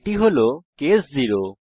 এটি হল কেস 0